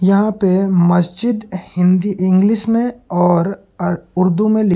यहां पे मस्जिद हिंदी इंग्लिश में और अ उर्दू में--